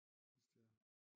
Hvis det er